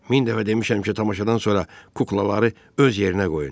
Min dəfə demişəm ki, tamaşadan sonra kuklaları öz yerinə qoyun.